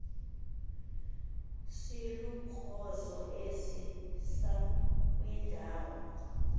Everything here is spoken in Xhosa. silukrozo esisa kwindawo